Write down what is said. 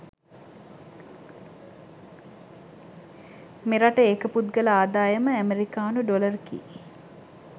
මෙරට ඒක පුද්ගල ආදායම ඇමෙරිකානු ඩොලර් කි